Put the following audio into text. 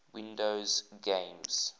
windows games